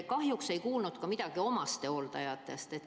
Kahjuks ei kuulnud me ka midagi omastehooldajatest.